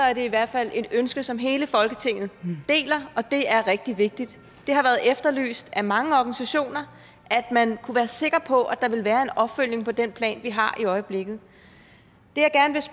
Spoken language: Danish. er det i hvert fald et ønske som hele folketinget deler og det er rigtig vigtigt det har været efterlyst af mange organisationer at man kunne være sikker på at der ville være en opfølgning på den plan vi har i øjeblikket